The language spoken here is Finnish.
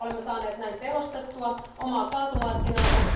Olemme saaneet näin tehostettua omaa kaasumarkkinaamme.